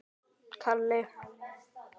Hún er dáin, Friðrik minn.